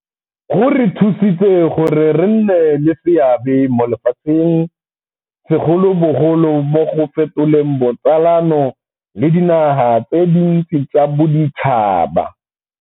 Go re thusitse gore re nne le seabe mo lefatsheng, segolobogolo mo go fetoleng botsalano le dinaga tse dintsi tsa boditšhaba.